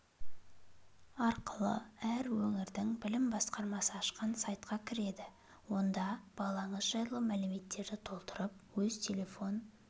арқылы әр өңірдің білім басқармасы ашқан сайтқа кіреді онда балаңыз жайлы мәліметтерді толтырып өз телефон